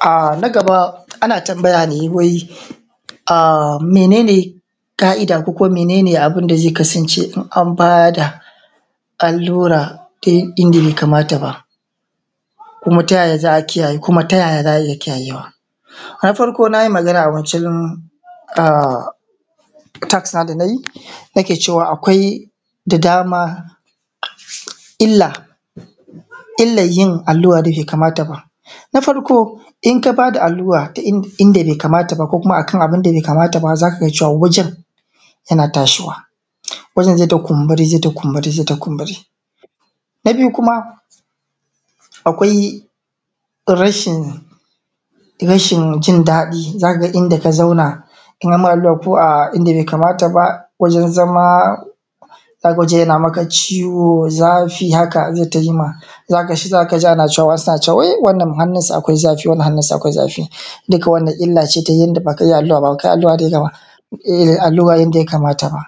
A nagaba ana tambaya ne wai mene ka’ida ko kuma mene ne abunda zai kasance an bada an lura da inda bai kamata ba, kuma tayaya za a iya kiyayewa. Na farko nayi magana a wancan a tax nawa da nayi, akwai da dama illan yin allura da bai kamata ba. Na farko in ka bada allura inda bai kamata ba ko kuma akan abunda bai kamata ba zaka ga wajen, yana tashuwa wajen zaita kumburi, zaita kumburi, zaita kumburi. Na biyu kuma akwai rashin jin daɗi, zaka ga inda ka zauna in amma allura ko a inda bai kamata ba wajen zama, yana maka ciwo zafi haka zaita yi maka, zakaji ana cewa wai wannan hannunsu akwai zafi wannan hannunsu akwai zafi. Duka wannan illa ce ta yanda baka iya allura ba, in ka iya allura baka iya allura yanda ya kamata ba